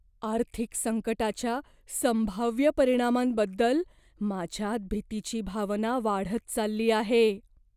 आर्थिक संकटाच्या संभाव्य परिणामांबद्दल माझ्यात भीतीची भावना वाढत चालली आहे.